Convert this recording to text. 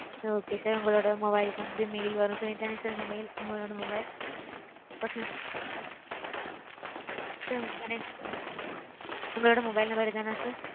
Okay sir உங்களோட mobile க்கு வந்து mail வரும் sir. இதானே sir உங்க mail? உங்களோட mobile personal sir உங்களோட mobile number இதுதானா sir?